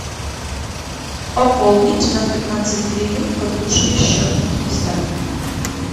пополнить на пятнадцать гривен подружке счет на киевстар